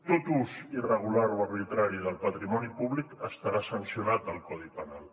tot ús irregular o arbitrari del patrimoni públic estarà sancionat al codi penal